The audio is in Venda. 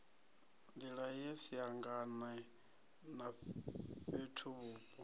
nḓila ye siangane na fhethuvhupo